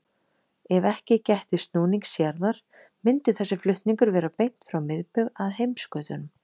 Ef ekki gætti snúnings jarðar myndi þessi flutningur vera beint frá miðbaug að heimskautunum.